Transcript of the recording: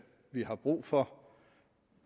vi har brug for